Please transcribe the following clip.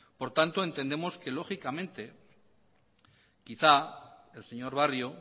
por tanto entendemos que lógicamente quizás el señor barrio